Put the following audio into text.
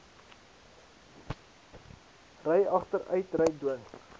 ry agteruitry dwing